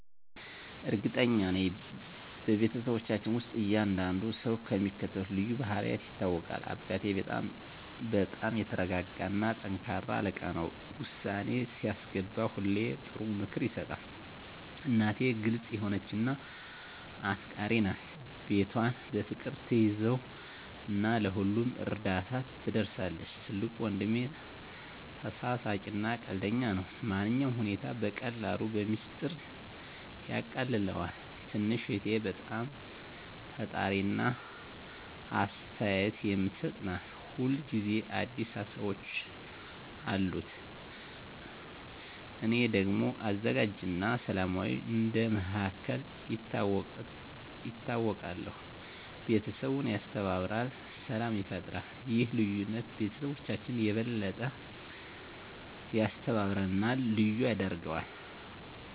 እርግጠኛ ነኝ፤ በቤተሰባችን ውስጥ እያንዳንዱ ሰው በሚከተሉት ልዩ ባህሪያት ይታወቃል - አባቴ በጣም የተረጋጋ እና ጠንካራ አለቃ ነው። ውሳኔ ሲያስገባ ሁሌ ጥሩ ምክር ይሰጣል። እናቴ ግልጽ የሆነች እና አፍቃሪች ናት። ቤቷን በፍቅር ትያዘው እና ለሁሉም እርዳታ ትደርሳለች። ትልቁ ወንድሜ ተሳሳቂ እና ቀልደኛ ነው። ማንኛውንም ሁኔታ በቀላሉ በሚስጥር ያቃልለዋል። ትንሽ እህቴ በጣም ፈጣሪ እና አስተያየት የምትሰጥ ናት። ሁል ጊዜ አዲስ ሀሳቦች አሉት። እኔ ደግሞ አዘጋጅ እና ሰላማዊ እንደ መሃከል ይታወቃለሁ። ቤተሰቡን ያስተባብራል እና ሰላም ይፈጥራል። ይህ ልዩነት ቤተሰባችንን የበለጠ ያስተባብራል እና ልዩ ያደርገዋል።